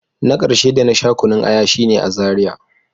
Na karshe da na sha kunun aya shine a Zaria.